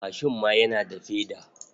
Mashin ma yana da feda.